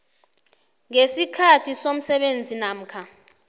ngesikhathi somsebenzi namkha